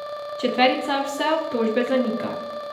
Četverica vse obtožbe zanika.